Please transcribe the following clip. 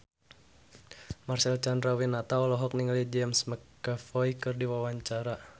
Marcel Chandrawinata olohok ningali James McAvoy keur diwawancara